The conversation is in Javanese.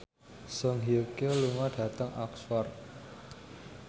Song Hye Kyo lunga dhateng Oxford